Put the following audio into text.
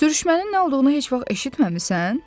Sürüşmənin nə olduğunu heç vaxt eşitməmisən?